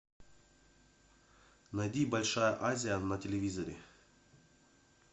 найди большая азия на телевизоре